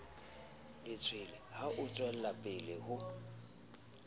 letshwele ha o tswelapele ho